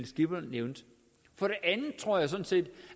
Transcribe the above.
skipper nævnte for det andet tror jeg sådan set